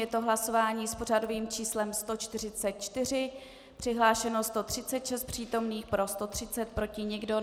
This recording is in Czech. Je to hlasování s pořadovým číslem 144, přihlášeno 136 přítomných, pro 130, proti nikdo.